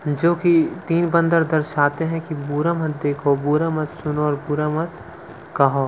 जो की तीन बंदर दर्शाते हैं कि बुरा मत देखो बुरा मत सुनो और बुरा मत कहो--